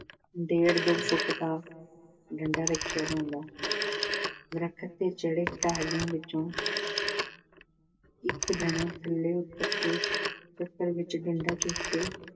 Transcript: ਡੇਢ-ਦੋ foot ਦਾ ਡੰਡਾ ਰੱਖਿਆ ਜਾਂਦਾ ਦਰਖ਼ਤ ਤੇ ਚੜ੍ਹੇ ਖਿਡਾਰੀ ਵਿੱਚੋਂ ਇੱਕ ਜਣਾ ਥੱਲੇ ਉੱਤਰ ਕੇ ਚੱਕਰ ਵਿੱਚੋਂ ਡੰਡਾ ਚੁੱਕ ਕੇ